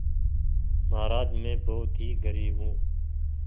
महाराज में बहुत ही गरीब हूँ